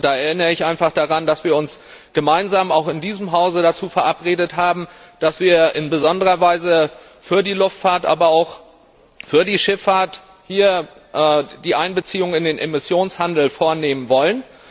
Da erinnere ich einfach daran, dass wir gemeinsam auch in diesem Hause vereinbart haben, dass wir in besonderer Weise für die Luftfahrt, aber auch für die Schifffahrt die Einbeziehung in den Emissionshandel vornehmen wollen.